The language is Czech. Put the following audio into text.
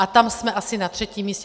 A tam jsme asi na třetím místě.